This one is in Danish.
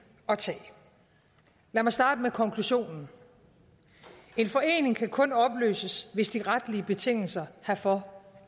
at tage lad mig starte med konklusionen en forening kan kun opløses hvis de retlige betingelser herfor